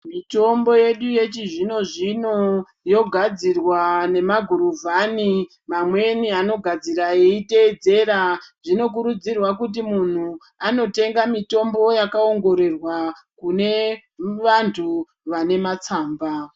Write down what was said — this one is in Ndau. Mutombo yedu yechizvino zvino yogadzirwa nemaguvhani mamweni anogadzira achiteedzera zvinokurudzirwa kuti mundu anotenge mutombo yakaongororwa kune vandu vane matsamba